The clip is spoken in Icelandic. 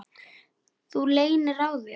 Þú leynir á þér!